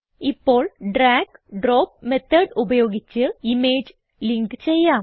ഇപ്പോൾ drag drop method ഉപയോഗിച്ച് image link ചെയ്യാം